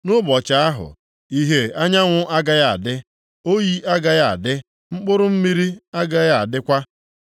Nʼụbọchị ahụ, ìhè anyanwụ agaghị adị, oyi agaghị adị, mkpụrụ mmiri agaghị adịkwa.